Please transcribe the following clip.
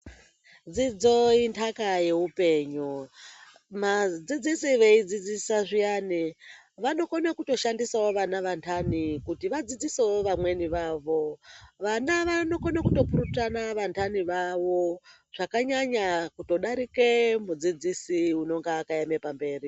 Dzidzo intaka yeupenyu. Ma..adzidzisi veidzidzisa zviyani vanokono kutoshandisa vana vantani kuti vadzidzisewo vamweni vavo. Vana vanokono kutopurutana vantani vawo zvakanyanya kutodarike mudzidzisi unonga akaeme pamberi.